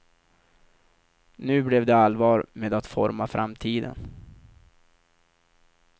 Nu blev det allvar med att forma framtiden.